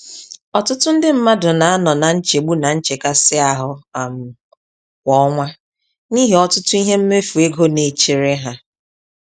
Ọtụtụ ndị mmadụ na-anọ na nchegbu na nchekasị-ahụ um kwá ọnwa, n'ihi ọtụtụ ihe mmefu ego naechere ha.